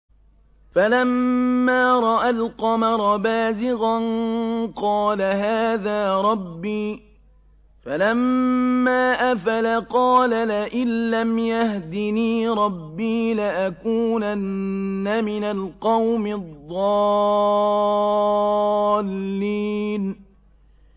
فَلَمَّا رَأَى الْقَمَرَ بَازِغًا قَالَ هَٰذَا رَبِّي ۖ فَلَمَّا أَفَلَ قَالَ لَئِن لَّمْ يَهْدِنِي رَبِّي لَأَكُونَنَّ مِنَ الْقَوْمِ الضَّالِّينَ